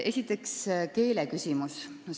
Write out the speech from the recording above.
Esiteks keeleküsimus.